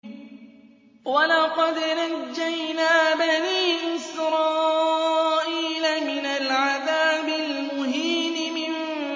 وَلَقَدْ نَجَّيْنَا بَنِي إِسْرَائِيلَ مِنَ الْعَذَابِ الْمُهِينِ